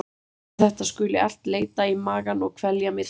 Verst að þetta skuli allt leita í magann og kvelja mig þar.